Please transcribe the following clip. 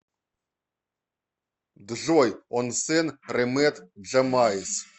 джой он сен ремет джамайс